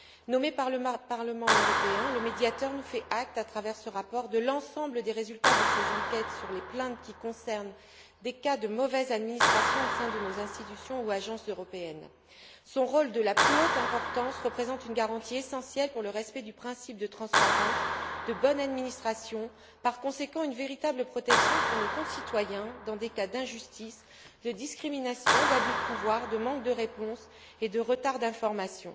Nommé par le Parlement européen, le médiateur nous donne acte, à travers ce rapport, de l'ensemble des résultats de ses enquêtes sur les plaintes qui concernent des cas de mauvaise administration au sein de nos institutions ou agences européennes. Son rôle, de la plus haute importance, représente une garantie essentielle pour le respect des principes de transparence et de bonne administration et constitue, par conséquent, une véritable protection pour nos concitoyens dans des cas d'injustice, de discrimination, d'abus de pouvoir, de manque de réponse et de retard d'information.